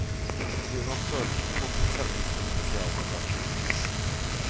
På grunn av størrelsen måtte den sendes som spesialbagasje.